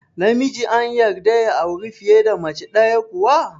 Namiji an yarda ya auri fiye da mace ɗaya kuwa?